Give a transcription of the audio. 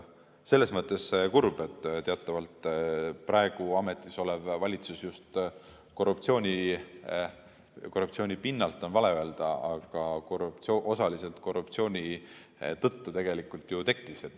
Selles mõttes kurb, et teatavasti praegu ametis olev valitsus just ... "korruptsiooni pinnalt" on vale öelda, aga osaliselt korruptsiooni tõttu ju tekkis.